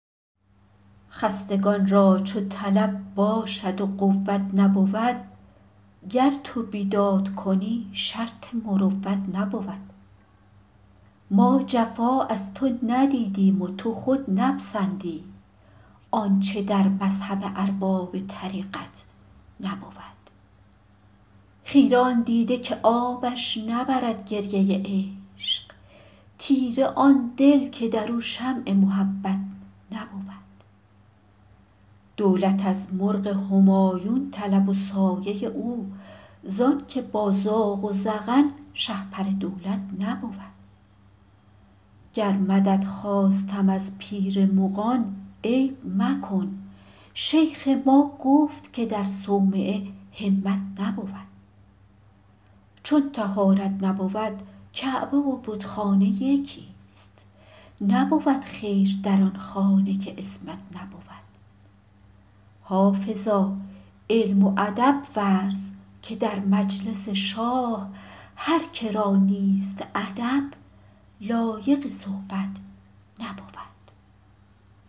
خستگان را چو طلب باشد و قوت نبود گر تو بیداد کنی شرط مروت نبود ما جفا از تو ندیدیم و تو خود نپسندی آنچه در مذهب ارباب طریقت نبود خیره آن دیده که آبش نبرد گریه عشق تیره آن دل که در او شمع محبت نبود دولت از مرغ همایون طلب و سایه او زان که با زاغ و زغن شهپر دولت نبود گر مدد خواستم از پیر مغان عیب مکن شیخ ما گفت که در صومعه همت نبود چون طهارت نبود کعبه و بتخانه یکیست نبود خیر در آن خانه که عصمت نبود حافظا علم و ادب ورز که در مجلس شاه هر که را نیست ادب لایق صحبت نبود